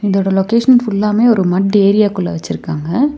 இதோட லொகேஷன் ஃபுல்லாமே ஒரு மட் ஏரியாகுள்ள வச்சுருக்காங்க.